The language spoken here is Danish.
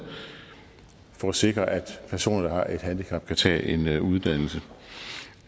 for at sikre at personer der har et handicap kan tage en uddannelse